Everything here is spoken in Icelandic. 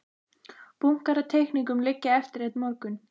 Bunkar af teikningum liggja eftir einn morgun.